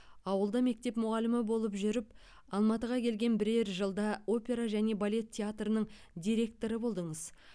ауылда мектеп мұғалімі болып жүріп алматыға келген бірер жылда опера және балет театрының директоры болдыңыз